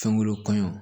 Fɛn wɛrɛ kɔɲɔ